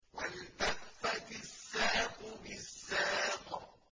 وَالْتَفَّتِ السَّاقُ بِالسَّاقِ